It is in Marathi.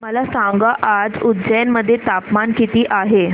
मला सांगा आज उज्जैन मध्ये तापमान किती आहे